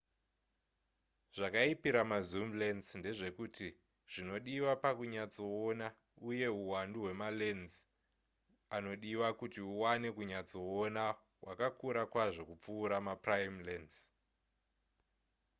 zvakaipira ma zoom lense ndezvekuti zvinodiwa pakunyatsoona uye huwandu hwemalense anodiwa kuti uwane kunyatsoona hwakakura kwazvo kupfuura maprime lense